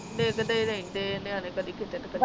ਦੇਖਦੇ ਰਹਿੰਦੇ ਨਿਆਣੇ ਕਦੀ ਕਿਤੇ ਨੂੰ